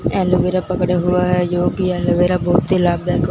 aloe vera पकड़ा हुआ जो कि एलोवेरा बहुत ही लाभदायक--